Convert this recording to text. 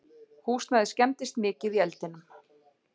Húsnæðið skemmdist mikið í eldinum